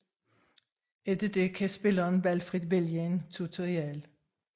Efter det kan spilleren valgfrit vælge en tutorial